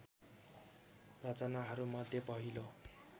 रचनाहरू मध्ये पहिलो